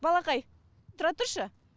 балақай тұра тұршы